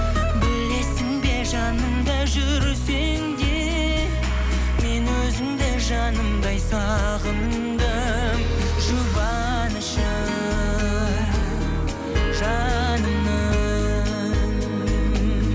білесің бе жанымда жүрсең де мен өзіңді жанымдай сағындым жұбанышы жанымның